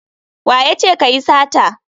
Wa ya ce ka yi sata?